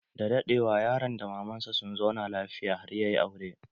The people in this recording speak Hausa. Da daɗewa, yaron da maman sa sun zauna lafiya har ya yi aure.